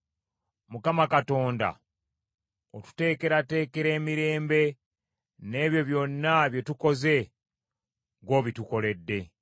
Mukama Katonda, otuteekerateekera emirembe, n’ebyo byonna bye tukoze, ggw’obitukoledde.